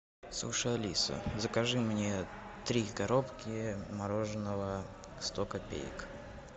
слушай алиса закажи мне три коробки мороженого сто копеек